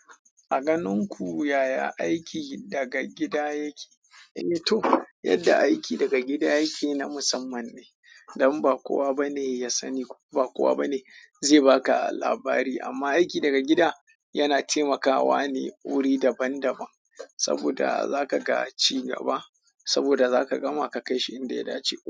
A ganin ku yaya aiki daga gida yake? Eh to, yadda aiki daga gida yake na musamman ne, don ba kowa bane yasani ba kowa ba ne zai baka labari. Amma aiki daga gida yana taimakawa ne wuri daban daban, saboda zakaga cigaba, saboda zaka gama ka kaishi inda ya dace.